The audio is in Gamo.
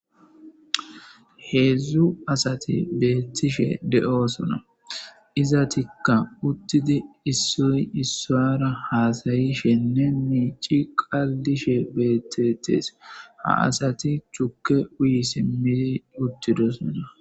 heedzdzu asati beettishe de7oosona iza tikka uttidi issoy issara haasayishenne miici qallishe beettetees ha asati chukke uyi simmidi uttidosona.